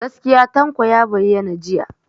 Gaskiya Tanko ya bayyana jiya.